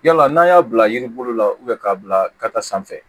Yala n'an y'a bila yiri bolo la k'a bila ka taa sanfɛ